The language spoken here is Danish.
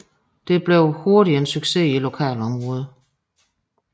Det blev hurtigt en succes i lokalområdet